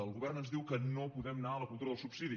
el govern ens diu que no podem anar a la cultura del subsidi